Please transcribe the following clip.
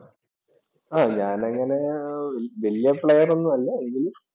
ആഹ് ഞാൻ അങ്ങനെ ഏർ വലിയ പ്ലെയര്‍ ഒന്നുമല്ല എങ്കിലും